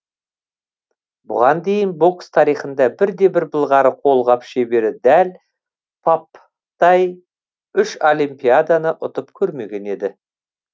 бұған дейін бокс тарихында бірде бір былғары қолғап шебері дәл папптай үш олимпиаданы ұтып көрмеген еді